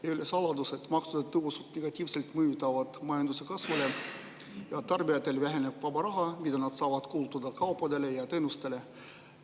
Ei ole saladus, et maksutõusud mõjutavad majanduse kasvu negatiivselt ja tarbijatel väheneb vaba raha, mida nad saavad kulutada kaupadele ja teenustele.